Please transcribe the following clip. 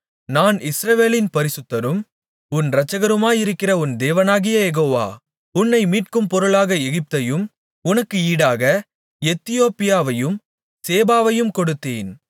நான் இஸ்ரவேலின் பரிசுத்தரும் உன் இரட்சகருமாயிருக்கிற உன் தேவனாகிய யெகோவா உன்னை மீட்கும்பொருளாக எகிப்தையும் உனக்கு ஈடாக எத்தியோப்பியாவையும் சேபாவையும் கொடுத்தேன்